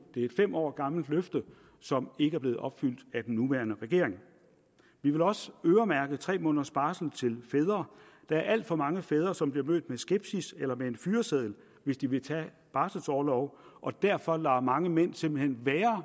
det er et fem år gammelt løfte som ikke er blevet opfyldt af den nuværende regering vi vil også øremærke tre måneders barsel til fædre der er alt for mange fædre som bliver mødt med skepsis eller med en fyreseddel hvis de vil tage barselorlov og derfor lader mange mænd simpelt hen være